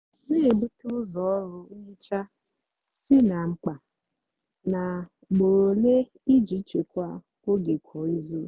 nà-èbute úzọ ọrụ nhicha sị ná mkpá nà úgbóró ólé íjì chekwaa ógè kwá ízú.